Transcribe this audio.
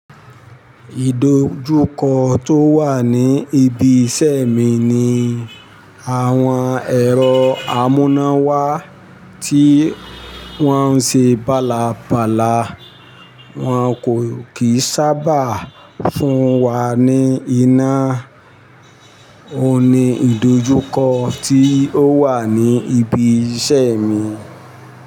Ìdojúkọ tó wà ní ibi iṣẹ́ mi ni àwọn ẹ̀rọ amúnáwá tí wọ́n ṣe bálabala. Wọn kì í sábà fún wa ní iná. Ó ní ìdojúkọ tí ó wà ní ibi iṣẹ́ mi.